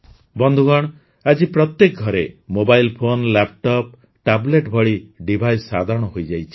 ବନ୍ଧୁଗଣ ଆଜି ପ୍ରତ୍ୟେକ ଘରେ ମୋବାଇଲ୍ ଫୋନ୍ ଲାପଟପ ଟାବଲେଟ୍ ଭଳି ଡିଭାଇସ୍ ସାଧାରଣ ହୋଇଯାଇଛି